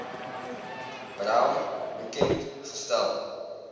brown bekend gestel